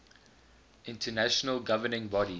international governing body